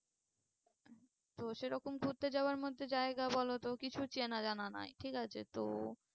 তো সেরকম ঘুরতে যাওয়ার মধ্যে জায়গা বলোতো কিছু চেনা জানা নাই ঠিক আছে তো